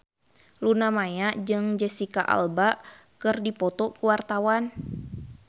Luna Maya jeung Jesicca Alba keur dipoto ku wartawan